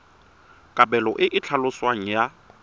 kabelo e e tlhaloswang ya